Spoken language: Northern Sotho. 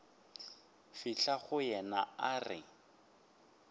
fihla go yena a re